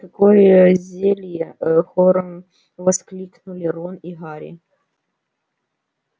какое зелье хором воскликнули рон и гарри